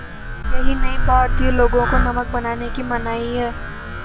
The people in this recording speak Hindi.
यही नहीं भारतीय लोगों को नमक बनाने की मनाही है